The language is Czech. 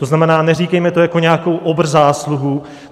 To znamená, neříkejme to jako nějakou obr zásluhu.